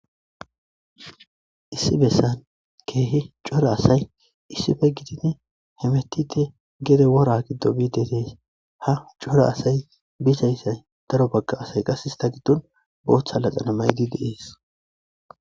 Issi bessan keehe cora asay issife gidinne hemetite gede wora giddo biidedeys ha cora asay bizayssay daro bagga asay qas hista giddon bootha laxana maydi deees.